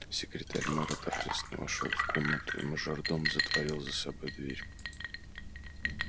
секретарь мэра торжественно вошёл в комнату и мажордом затворил за собой дверь